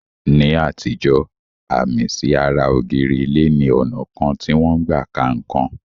Ní àtijọ́, àmì sí ara ògiri ilé ni ọnà kan tí wọ́n n gbà ka nǹkan.